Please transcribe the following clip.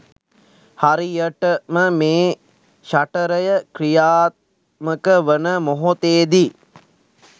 හරියටම මේ ෂටරය ක්‍රියාත්මක වන මොහොතේදී